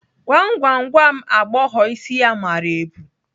Gwam gwam, gwa m agbọghọ isi ya mara ebu?